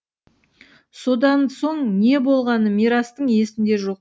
содан соң не болғаны мирастың есінде жоқ